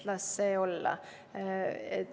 Las see olla!